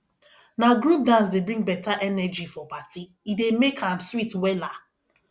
na group dance dey bring beta energy for party e dey make am sweet wella